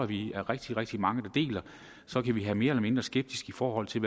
vi er rigtig rigtig mange der deler så kan vi have mere eller mindre skepsis i forhold til